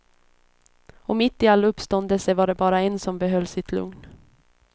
Och mitt i all uppståndelse var det bara en som behöll sitt lugn.